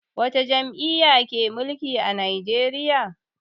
Wata jam'iyya ke mulki a Najeriya?